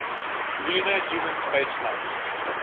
lunar human spaceflights